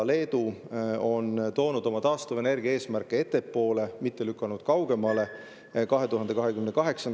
Leedu on toonud oma taastuvenergia eesmärke ettepoole, 2028. aastasse, mitte lükanud kaugemale.